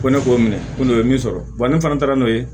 Ko ne k'o minɛ ko n'o ye min sɔrɔ ne fana taara n'o ye